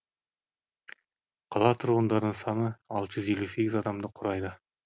қала тұрғындарының саны алты жүз елу сегіз адамды құрайды